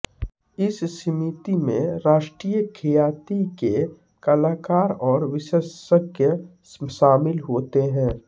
इस समिति में राष्ट्रीय ख्याति के कलाकार और विशेषज्ञ शामिल होते हैं